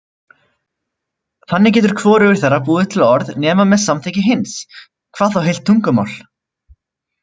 Þannig getur hvorugur þeirra búið til orð nema með samþykki hins, hvað þá heilt tungumál.